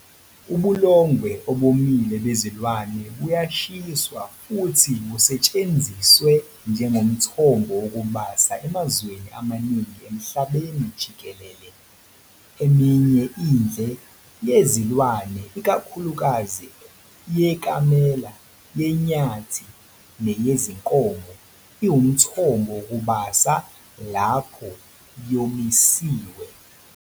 Ubulongwe obomile bezilwane buyashiswa futhi busetshenziswe njengomthombo wokubasa emazweni amaningi emhlabeni jikelele. Eminye indle yezilwane, ikakhulukazi ekamela, yenyathi neyezinkomo, iwumthombo wokubasa lapho yomisiwe.